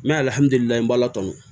N bɛ